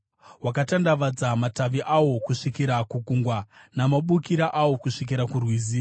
Wakatandavadza matavi awo kusvikira kuGungwa, namabukira awo kusvikira kuRwizi.